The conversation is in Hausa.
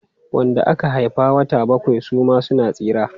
Wanda aka haifa a wata bakwai suma suna tsira.